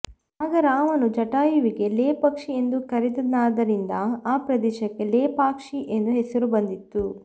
ಆಗ ರಾಮನು ಜಟಾಯುವಿಗೆ ಲೇ ಪಕ್ಷೀ ಎಂದು ಕರೆದನಾದ್ದರಿಂದ ಆ ಪ್ರದೇಶಕ್ಕೆ ಲೇಪಾಕ್ಷಿ ಎಂದು ಹೆಸರು ಬಂದಿತ್ತು